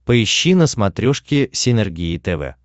поищи на смотрешке синергия тв